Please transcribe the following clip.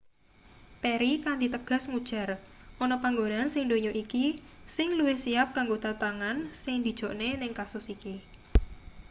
perry kanthi tegas ngujar ana panggonan sing ndonya iki sing luwih siyap kanggo tantangan sing dijokne ning kasus iki